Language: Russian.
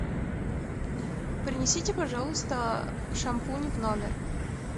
принесите пожалуйста шампунь в номер